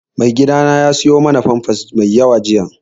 Maigidana ya siyo mana famfas mai yawa jiya